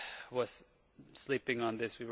was sleeping on this.